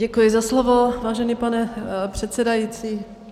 Děkuji za slovo, vážený pane předsedající.